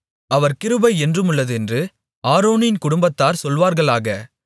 அவர் கிருபை என்றுமுள்ளதென்று ஆரோனின் குடும்பத்தார் சொல்வார்களாக